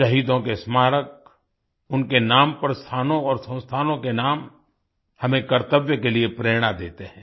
शहीदों के स्मारक उनके नाम पर स्थानों और संस्थानों के नाम हमें कर्तव्य के लिए प्रेरणा देते हैं